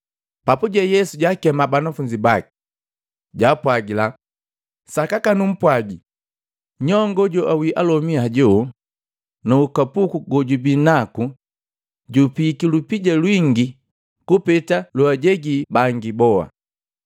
Papuje Yesu jaakema banafunzi baki, jaapwagila, “Sakaka numpwagii, nyongoo joawii alomi hajoo nuukapuku gojubii naku jupiiki lupija lwingi kupeta loajegi bangi boa.